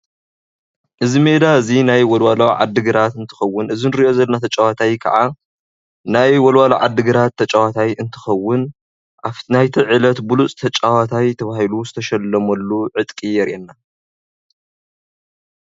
እዚ ሜዳ እዙይ ናይ ወልዋሎ ዓዲግራት እንትከውን እዚ እንሪኦ ዘለና ተጫዋታይ ክዓ ናይ ወልዋሎ ዓዲግራት ተጫዋታይ እንትከውን ናይቲ ዕለት ብሉፅ ተጫዋታይ ተባሂሉ ዝተሸለመሉ ዕጥቂ የርእየና፡፡